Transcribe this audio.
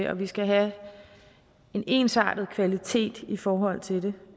at vi skal have en ensartet kvalitet i forhold til